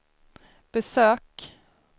besök